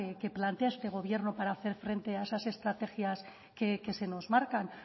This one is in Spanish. que plantea este gobierno para hacer frente a esas estrategias que se nos marcan